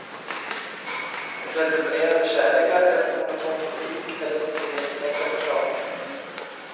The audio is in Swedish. Revolutionerande kärlekar är som monoton politik, eller som ogenomtänkta förslag.